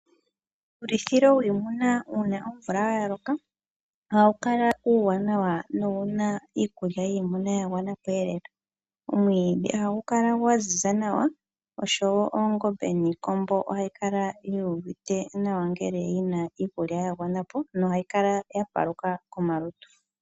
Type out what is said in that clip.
Uulithilo wiimuna uuna omvula ya loka ohawu kala uuwanawa nowu na iikulya yiimuna ya gwana. Omwiidhi ohagu kala gwa ziza nawa, oshowo oongombe niikombo ohayi kala yu uvite nawa ngele yi na iikulya ya gwana po nohayi kala ya paluka komalutu.